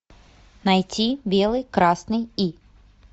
найти белый красный и